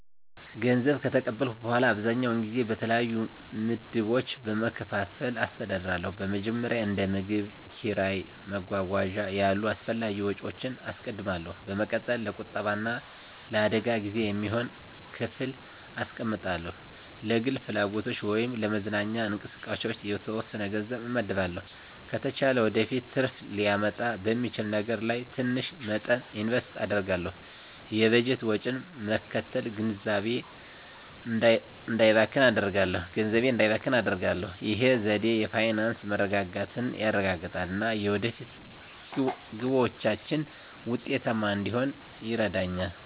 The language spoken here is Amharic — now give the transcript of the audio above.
ገንዘብ ከተቀበልኩ በኋላ, አብዛኛውን ጊዜ በተለያዩ ምድቦች በመከፋፈል አስተዳድራለሁ. በመጀመሪያ፣ እንደ ምግብ፣ ኪራይ እና መጓጓዣ ያሉ አስፈላጊ ወጪዎችን አስቀድማለሁ። በመቀጠል፣ ለቁጠባ እና ለአደጋ ጊዜ የሚሆን ክፍል አስቀምጣለሁ። ለግል ፍላጎቶች ወይም ለመዝናኛ እንቅስቃሴዎች የተወሰነ ገንዘብ እመድባለሁ። ከተቻለ ወደፊት ትርፍ ሊያመጣ በሚችል ነገር ላይ ትንሽ መጠን ኢንቨስት አደርጋለሁ። የበጀት ወጪን መከተል ገንዘቤ እንዳይባክን አደርጋሁ። ይህ ዘዴ የፋይናንስ መረጋጋትን ያረጋግጣል እና የወደፊት ግቦችን ውጤታማ እንድሆን ይረዳኛል.